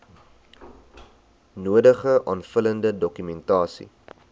nodige aanvullende dokumentasie